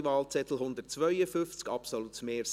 Ich wünsche Ihnen einen guten Appetit!